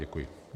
Děkuji.